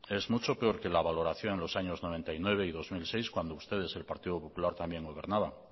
es mucho peor que la valoración de los años noventa y nueve y dos mil seis cuando ustedes el partido popular también gobernaban